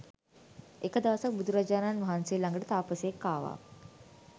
එක දවසක් බුදුරජාණන් වහන්සේ ළඟට තාපසයෙක් ආවා